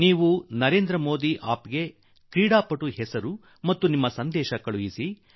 ನೀವು ನನಗೆ ನರೇಂದ್ರ ಮೋದಿ ಆಪ್ ನಲ್ಲಿ ಆಟಗಾರರ ಹೆಸರಿನಲ್ಲಿ ಶುಭಕಾಮನೆಯನ್ನು ಕಳುಹಿಸಿ